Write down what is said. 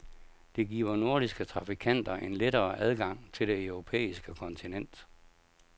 Det giver nordiske trafikanter en lettere adgang til det europæiske kontinent.